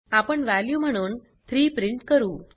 आपण वॅल्यू म्हणून 3 प्रिंट करू